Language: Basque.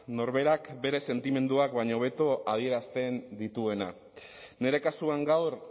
norberak bere sentimenduak baino hobeto adierazten dituena nire kasuan gaur